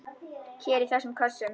Hér í þessum kössum!